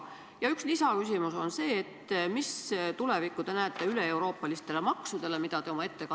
Ja üks lisaküsimus on see, milline võiks olla üleeuroopaliste maksude tulevik?